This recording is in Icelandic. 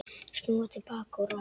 Snúa til baka úr láni